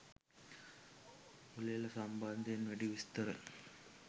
උළෙල සම්බන්ධයෙන් වැඩි විස්තර